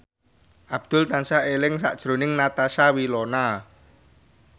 Abdul tansah eling sakjroning Natasha Wilona